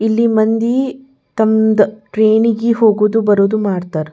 ಇಲ್ಲಿ ಮಂದಿ ತಮ್ಮದ್ ಟ್ರೈನ್ ನಿಗೆ ಹೋಗೊದು ಬರೋದು ಮಾಡತ್ತರ್.